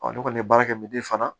ne kɔni ye baara kɛ fana